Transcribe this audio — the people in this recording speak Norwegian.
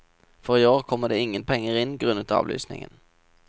For i år kommer det ingen penger inn grunnet avlysningen.